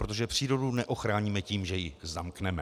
Protože přírodu neochráníme tím, že ji zamkneme.